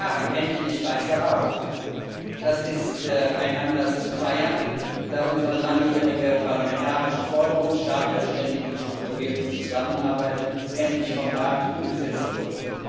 acht Jahren endlich weißer Rauch Das ist ein Anlass zu feiern, da unsere langjährige parlamentarische Forderung Start der ständigen strukturierten Zusammenarbeit endlich vom Rat umgesetzt wurde.